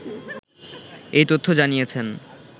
এই তথ্য জানিয়েছেন